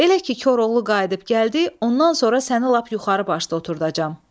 Elə ki Koroğlu qayıdıb gəldi, ondan sonra səni lap yuxarı başda oturdacam.